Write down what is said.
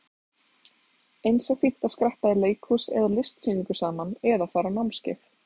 Eins er fínt að skreppa í leikhús eða á listasýningu saman eða fara á námskeið.